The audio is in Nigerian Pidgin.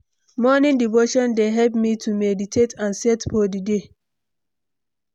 Morning devotion dey help me to meditate and set for di day.